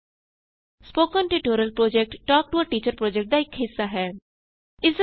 spoken tutorial project talk to a teacher ਪੋ੍ਜੈਕਟਦਾ ਇਕ ਹਿੱਸਾ ਹੈ